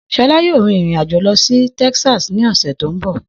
Shola yóò rin ìrìn-àjò lọ sí Texas ní ọ̀sẹ̀ tó ń bọ̀.